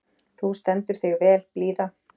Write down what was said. Þú stendur þig vel, Blíða!